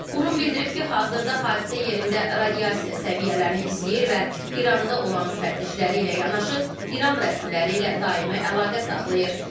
Qurum bildirib ki, hazırda hadisə yerində radiasiya səviyyələrini izləyir və İranda olan müfəttişləri ilə yanaşı İran rəsmiləri ilə daimi əlaqə saxlayır.